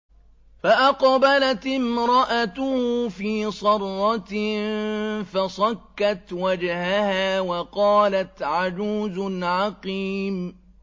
فَأَقْبَلَتِ امْرَأَتُهُ فِي صَرَّةٍ فَصَكَّتْ وَجْهَهَا وَقَالَتْ عَجُوزٌ عَقِيمٌ